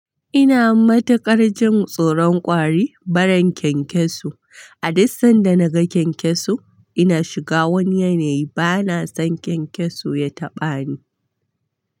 Ina matuƙar jin tsoron ƙwari, baran kyankyaso. A duk sanda naga kyankyaso ina shiga wani yanayi bana son kyankyaso ya taɓa ni.